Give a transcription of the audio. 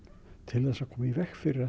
til þess að koma í veg fyrir